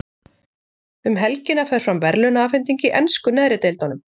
Um helgina fer fram verðlaunaafhending í ensku neðri deildunum.